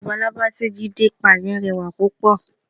Labalábá tí Jídé pa yẹn rẹwà púpọ̀.